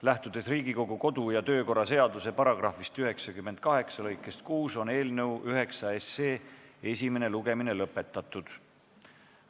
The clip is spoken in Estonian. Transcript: Lähtudes Riigikogu kodu- ja töökorra seaduse § 98 lõikest 6, on eelnõu 9 esimene lugemine lõpetatud.